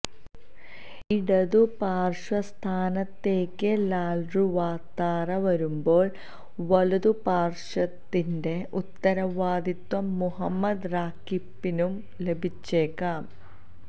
ഇടതുപാര്ശ്വ സ്ഥാനത്തേക്ക് ലാല്റുവാത്താര വരുമ്പോള് വലതു പാര്ശ്വത്തിന്റെ ഉത്തരവാദിത്വം മുഹമ്മദ് റാകിപ്പിനും ലഭിച്ചേക്കാം